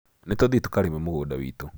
Nĩtũthiĩ tũkarĩme mũgũnda witũ.